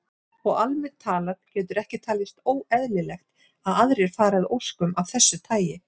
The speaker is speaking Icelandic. Og almennt talað getur ekki talist óeðlilegt að aðrir fari að óskum af þessu tagi.